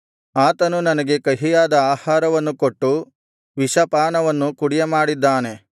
ಆತನು ನನಗೆ ಕಹಿಯಾದ ಆಹಾರವನ್ನು ಕೊಟ್ಟು ವಿಷ ಪಾನವನ್ನು ಕುಡಿಯಮಾಡಿದ್ದಾನೆ